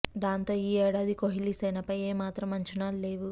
దాంతో ఈ ఏడాది కోహ్లీ సేనపై ఏ మాత్రం అంచనాలు లేవు